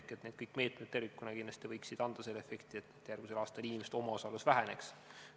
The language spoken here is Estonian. Kõik need meetmed tervikuna kindlasti võiksid anda selle efekti, et järgmisel aastal inimeste omaosalus väheneks.